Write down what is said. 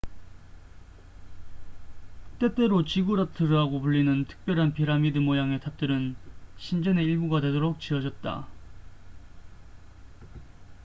때때로 지구라트라고 불리는 특별한 피라미드 모양의 탑들은 신전의 일부가 되도록 지어졌다